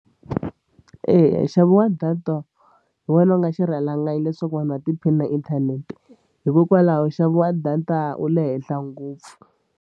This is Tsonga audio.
Eya nxavo wa data hi wona u nga xirhalanganyi leswaku vanhu va tiphina hi inthanete hikokwalaho nxavo wa data wu le henhla ngopfu.